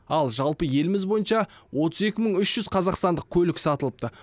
ал жалпы еліміз бойынша отыз екі мың үш жүз қазақстандық көлік сатылыпты